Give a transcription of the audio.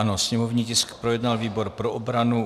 Ano, sněmovní tisk projednal výbor pro obranu.